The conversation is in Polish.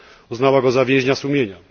uznała go za więźnia sumienia.